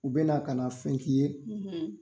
U bɛna na ka na fɛn k'i ye,